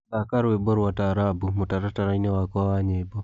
thaka rwĩmbo rwa taarabũ mũtarataraĩnĩ wakwa wa nyĩmbo